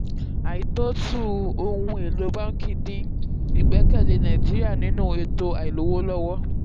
àìtóòtú ohun-èlò báńkì dín ìgbẹ́kẹ̀lé nàìjíríà nínú ètò àìlówóllọ́wọ́.